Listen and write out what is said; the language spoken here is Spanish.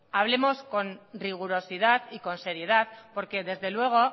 hablemos